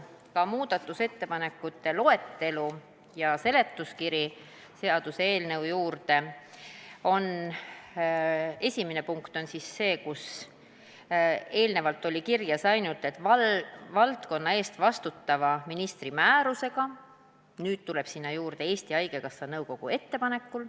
Nii nagu muudatusettepanekute loetelust ja seaduseelnõu juurde kuuluvast seletuskirjast on näha, on esimene punkt see, et sinna, kus eelnevalt oli kirjas ainult "valdkonna eest vastutava ministri määrusega", tuleb nüüd juurde "Eesti Haigekassa nõukogu ettepanekul".